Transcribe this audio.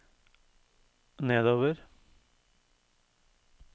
nedover